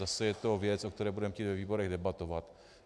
Zase je to věc, o které budeme chtít ve výborech debatovat.